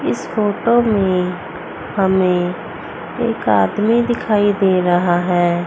इस फोटो में हमें एक आदमी दिखाई दे रहा है।